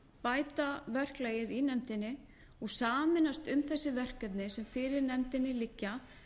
bæta verklagið í nefndinni og sameinast um þessi verkefni sem fyrir nefndinni liggja